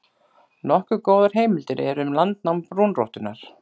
Nokkuð góðar heimildir eru um landnám brúnrottunnar.